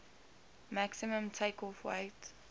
maximum takeoff weight